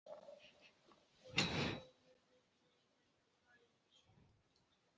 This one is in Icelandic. Ekki ónýtt í þessari dýrtíð.